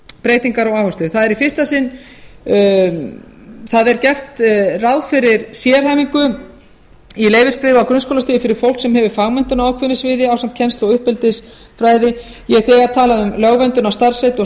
breytingar og áherslur það er í fyrsta sinn gert ráð fyrir sérhæfingu á leyfisbréfa og grunnskólastigi fyrir fólk sem hefur fagmenntun á ákveðnu sviði ásamt kennslu og uppeldisfræði ég hef þegar talað um lögverndun á starfsheiti og